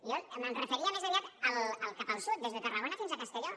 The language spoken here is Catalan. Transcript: jo em referia més aviat cap al sud des de tarragona fins a castelló